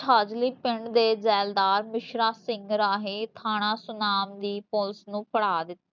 ਛਾਜਲੀ ਪਿੰਡ ਦੇ ਜ਼ੈਲਦਾਰ ਮਿਸ਼ਰਾ ਸਿੰਘ ਰਾਹੀ ਥਾਣਾ ਸੁਨਾਮ police ਨੂੰ ਫੜਾ ਦਿੱਤਾ